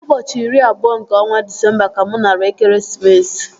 Ụbọchị iri abụọ nke ọnwa Disemba ka mụ nara ekeresimesi